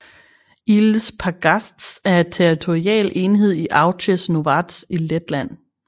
Īles pagasts er en territorial enhed i Auces novads i Letland